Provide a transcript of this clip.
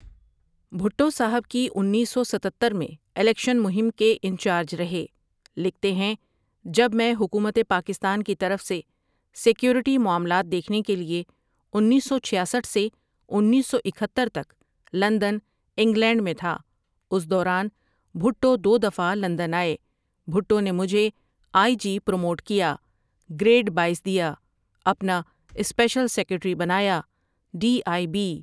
بھٹو صاحب کی انیس سو ستتر میں الیکشن مہم کے انچارج رہے لکھتے ہیں جب میں حکومت پاکستان کی طرف سے سیکورٹی معاملات دیکھنے کے لیے انیس سو چھیاسٹھ سے انیس سو اکہتر تک لندن انگلینڈ میں تھا اس دوران بھٹو دو دفعہ لندن آئے بھٹو نے مجھے آئی جی پرموٹ کیا گریڈ باییس دیا اپنا اسپیشل سیکرٹیری بنایا ڈی آئی بی ۔